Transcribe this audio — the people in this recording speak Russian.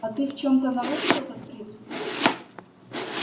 а ты в чем-то нарушил этот принцип